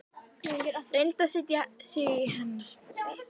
Reyndi að setja sig í hennar spor.